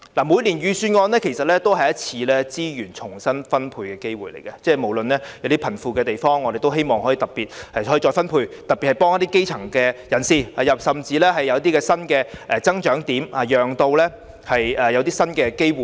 每年的預算案其實也是一次資源重新分配的機會，包括從貧富方面看看如何再分配，特別是要幫助基層人士，甚至可以有一些新的增長點，從而帶來新的機會。